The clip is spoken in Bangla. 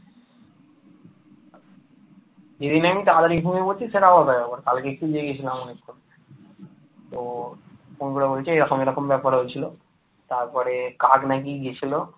তারপরে কাল নাকি গিয়েছিল ।